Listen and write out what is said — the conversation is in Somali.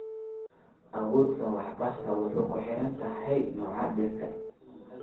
Awoodda waraabka waxay kuxirantahay nooca dhirta.